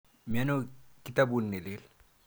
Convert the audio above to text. Miano kitaput ne lel?